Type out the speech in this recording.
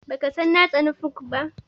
Baka san na tsani funk ba?